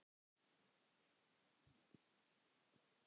En glöggt er gests augað.